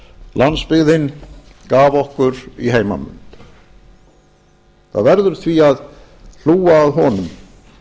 landsbyggðin gaf okkur í heimanmund það verður því að hlúa að honum